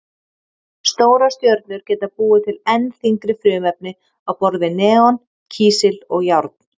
Stórar stjörnur geta búið til enn þyngri frumefni á borð við neon, kísil og járn.